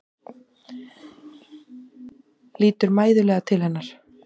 Lítur mæðulega til hennar.